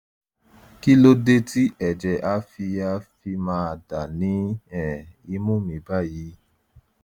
kí ló dé tí ẹ̀jẹ̀ á fi á fi máa dà ní um imú mi báyìí?